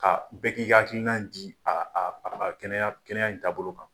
Ka bɛɛ k'i ka hakilina di a a a kɛnɛya kɛnɛya in taabolo kan.